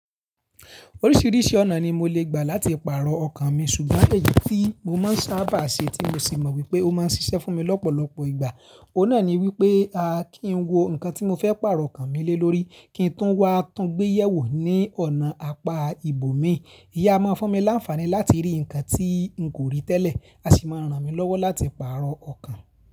Oríṣiríṣi ọ̀nà ni mo lè gbà láti pààrọ̀ ọkàn mi ṣùgbọ́n èyí tí mo máa ń sábà ṣe tí mo sì mọ̀ wípé ó máa ń ṣiṣẹ́ fún mi lọ́pọ̀lọpọ̀ ìgbà, òun náà ni wípé a kí n wo nǹkan tí mo fẹ́ pààrọ̀ ọkàn mi lé lórí kí n tún wá tún gbéyẹ̀wò ní ọ̀nà apá ìbò mi. Íyi a máa fún mi láńfààní láti rí nǹkan tí n kò rí tẹ́lẹ̀, a sì máa ń ràn mí lọ́wọ́ láti pààrọ̀ ọkàn.